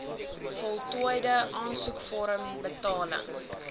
voltooide aansoekvorm betaling